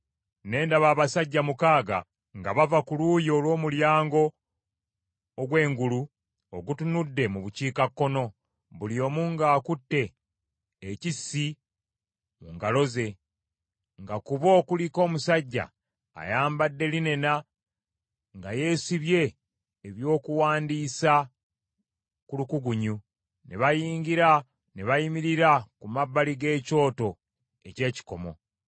Ne ndaba abasajja mukaaga nga bava ku luuyi olw’omulyango ogw’engulu, ogutunudde mu bukiikakkono, buli omu ng’akutte ekissi mu ngalo ze; nga ku bo kuliko omusajja ayambadde linena nga yeesibye ebyokuwandiisa ku lukugunyu. Ne bayingira ne bayimirira ku mabbali g’ekyoto eky’ekikomo.